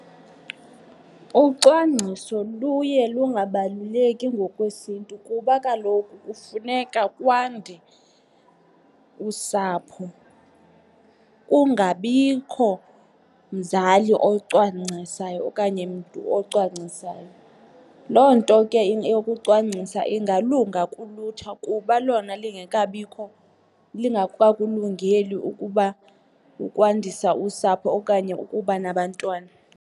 Ucwangciso luye lungabaluleki ngokwesiNtu kuba kaloku kufuneka kwande usapho, kungabikho mzali ocwangcisayo okanye mntu ocwangcisayo. Loo nto ke yokucwangcisa ingalunga kulutsha kuba lona lingekabikho lingekakulungeli ukuba ukwandisa usapho okanye ukuba nabantwana.